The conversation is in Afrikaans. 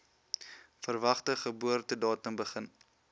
verwagte geboortedatum begin